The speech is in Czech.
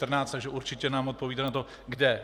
Takže určitě nám odpovíte na to kde.